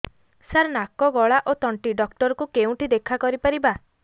ସାର ନାକ ଗଳା ଓ ତଣ୍ଟି ଡକ୍ଟର ଙ୍କୁ କେଉଁଠି ଦେଖା କରିପାରିବା